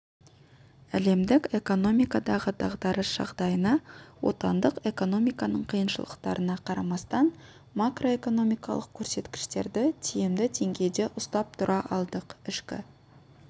әлемдік экономикадағы дағдарыс жағдайына отандық экономиканың қиыншылықтарына қарамастан макроэкономикалық көрсеткіштерді тиімді деңгейде ұстап тұра алдық ішкі